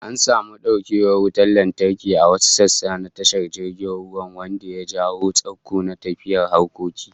An samu daukewar wutar lantarki a wasu sassa na tashar jirgin ruwan, wanda ya jawo tsaiko na tafiyar harkoki